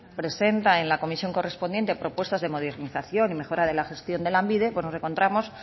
presenta en la comisión correspondiente propuestas de modernización y mejorara de la gestión de lanbide pues nos encontramos